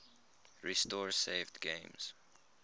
restore saved games